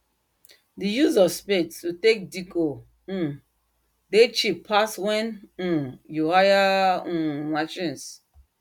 dem like like the way spade dey loose ground wellwell especially um for um hot afternoon when um sweat dey pour like water